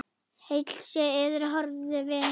Heill sé yður, horfnu vinir!